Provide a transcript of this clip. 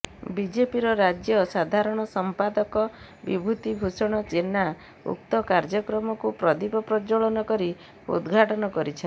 ବିଜେପିର ରାଜ୍ୟ ସାଧାରଣ ସଂପାଦକ ବିଭୂତି ଭୂଷଣ ଜେନା ଉକ୍ତ କାର୍ଯ୍ୟକ୍ରମକୁ ପ୍ରଦୀପ ପ୍ରଜ୍ୱଳନ କରି ଉଦଘାଟନ କରିଛନ୍ତି